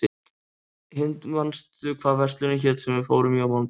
Hind, manstu hvað verslunin hét sem við fórum í á mánudaginn?